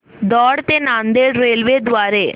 दौंड ते नांदेड रेल्वे द्वारे